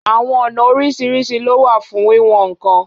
Awọn ọna oriṣiriṣi lo wa fun wiwọn ǹkan